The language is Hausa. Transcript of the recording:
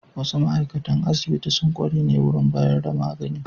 Wasu ma'aikatan asibiti sun kware ne wurin bayar da magani.